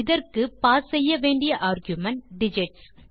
இதற்கு பாஸ் செய்ய வேண்டிய ஆர்குமென்ட் டிஜிட்ஸ்